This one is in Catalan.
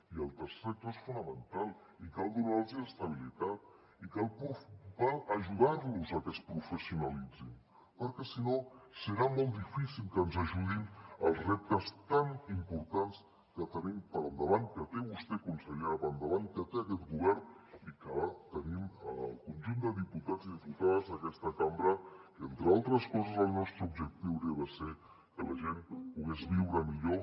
i el tercer sector és fonamental i cal donar los estabilitat i cal ajudar los a que es professionalitzin perquè si no serà molt difícil que ens ajudin en els reptes tan importants que tenim per endavant que té vostè consellera per endavant que té aquest govern i que tenim el conjunt de diputats i diputades d’aquesta cambra que entre altres coses el nostre objectiu hauria de ser que la gent pogués viure millor